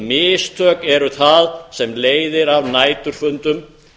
mistök eru það sem leiðir af næturfundum